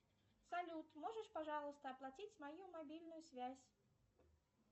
салют можешь пожалуйста оплатить мою мобильную связь